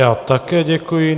Já také děkuji.